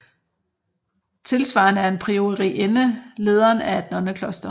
Tilsvarende er en priorinde lederen af et nonnekloster